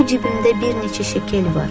Bu cibimdə bir neçə şəkil var.